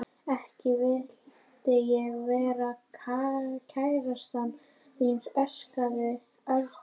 Ekki vildi ég vera kærastan þín sagði Örn hlæjandi.